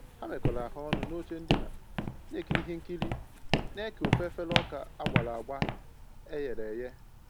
Ha mekọrọ ahụ ọnụ n'oche ndina na-ekiri ihe nkiri na eke Ofú efere ọka agbara agba eghere eghe